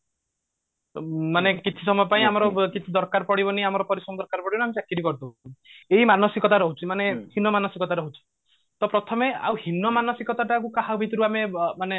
ମାନେ କିଛି ସମୟ ପାଇଁ ଆମର କିଛି ଦରକାର ପଡିବନି ଆମର ପ୍ରରିଶ୍ରମ ଦରକାର ପଡିବନି ଆମେ ଚାକିରି କରି ଦବୁ ଏଇ ମାନସିକତା ରହୁଛି ମାନେ ହୀନମାନସିକତା ରହୁଛି ତ ପ୍ରଥମେ ହିନ ମାନସିକତା ଟାକୁ କାହାଭିତରୁ ଆମେ ମାନେ